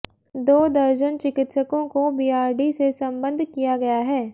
दो दर्जन चिकित्सकों को बीआरडी से संबद्ध किया गया है